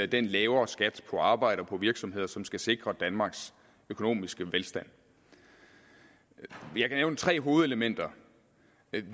den lavere skat på arbejde og på virksomheder som skal sikre danmarks økonomiske velstand jeg kan nævne tre hovedelementer